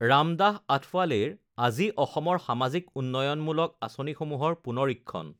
ৰামদাস আথৱালেৰ আজি অসমৰ সামাজিক উন্নয়নমূলক আঁচনিসমূহৰ পুনৰীক্ষণ